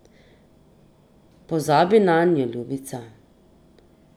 Pozabi nanjo, ljubica.